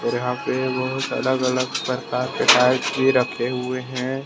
यहां पे बहुत अलग अलग प्रकार के टाइल्स भी रखे हुए हैं।